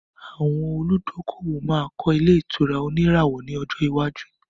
Àwọn olùdókòwò máa kọ́ ilẹ̀ ìtura òníràwọ̀ ní ọjọ iwájú